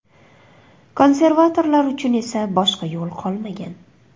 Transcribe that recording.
Konservatorlar uchun esa boshqa yo‘l qolmagan.